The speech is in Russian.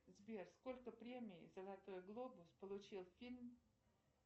сбер сколько премий золотой глобус получил фильм